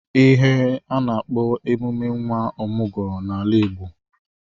Ihe a na-akpo emume nwa ọmụgwọ n'ala Igbo.